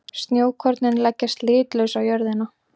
Snjókornin leggjast litlaus á jörðina.